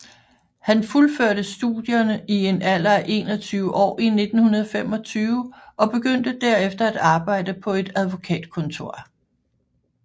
Han fuldførte studierne i en alder af 21 år i 1925 og begyndte derefter at arbejde på et advokatkontor